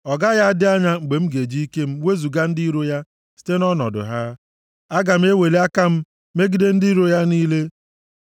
Ọ gaghị adị anya mgbe m ga-eji ike m, wezuga ndị iro ya site nʼọnọdụ ha. Aga m eweli aka m, megide ndị iro ya niile.